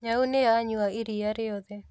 Nyau nĩyanyua iria rĩothe